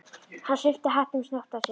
Hann svipti hattinum snöggt af sér.